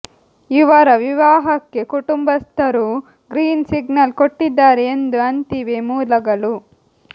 ಇವರ ವಿವಾಹಕ್ಕೆ ಕುಟುಂಬಸ್ಥರೂ ಗ್ರೀನ್ ಸಿಗ್ನಲ್ ಕೊಟ್ಟಿದ್ದಾರೆ ಎಂದು ಅಂತಿವೆ ಮೂಲಗಳು